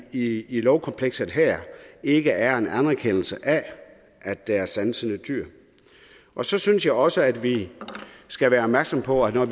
i i lovkomplekset her ikke er en anerkendelse af at der er sansende dyr og så synes jeg også at vi skal være opmærksom på at når